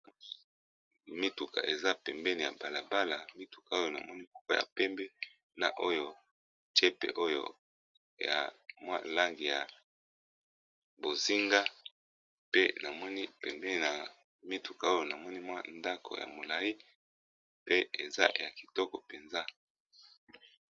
Mituka eza pembeni ya balabala mituka oyo namonika ya pembe na oyo jepe oyoya mwalangi ya bozinga pe namoni pembeni na mituka oyo na moni mwa ndako ya molai pe eza ya kitoko mpenza